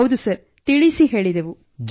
ಹೌದು ಸರ್ ತಿಳಿಸಿ ಹೇಳಿದೆವು